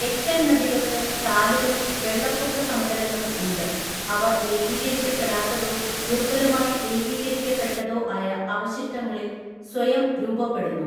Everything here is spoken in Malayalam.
എക്കൽ നദികൾക്ക് ചാലുകളും വെള്ളപ്പൊക്ക സമതലങ്ങളും ഉണ്ട് അവ ഏകീകരിക്കപ്പെടാത്തതോ ദുർബലമായി ഏകീകരിക്കപ്പെട്ടതോ ആയ അവശിഷ്ടങ്ങളിൽ സ്വയം രൂപപ്പെടുന്നു.